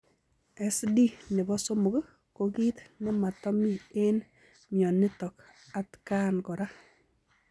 SD nepo somok ko kiit nematamii eng mionitok atkaan koraa.